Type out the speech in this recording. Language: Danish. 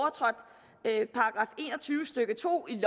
tyve stykke to i